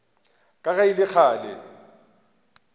ka ge e le kgale